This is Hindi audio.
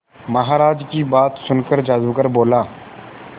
महाराज की बात सुनकर जादूगर बोला